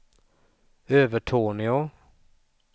Övertorneå